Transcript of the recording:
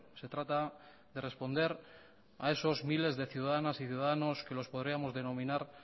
se trata de responder a esos miles de ciudadanas y ciudadanos que los podríamos denominar